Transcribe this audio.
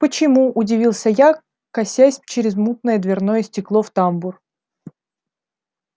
почему удивился я косясь через мутное дверное стекло в тамбур